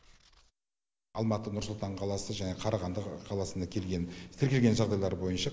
алматы нұр сұлтан қаласы және қарағанды қаласында келген тіркелген жағдайлар бойынша